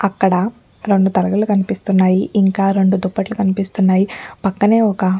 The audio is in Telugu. ఇక్కడ రెండు తలగడలు కనిపిస్తున్నాయిఇంకా రెండు దుపట్టులు కనిపిస్తునాయి పక్కనే ఒక్క --